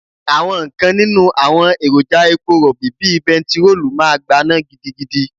Àwọn kan nínú àwọn èròjà epo Rọ̀bì bíi bentiroolu máa gbaná gidigidi.